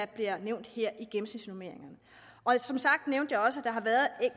bliver nævnt her i gennemsnitsnormeringerne og som sagt nævnte jeg også